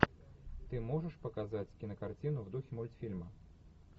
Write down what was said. ты можешь показать кинокартину в духе мультфильма